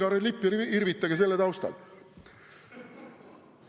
Võtke oma vikerkaarelipp ja irvitage selle taustal!